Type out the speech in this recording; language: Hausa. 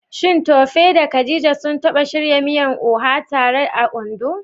Shin Tope da Khadija sun taba shirya miyar Oha tare a Ondo?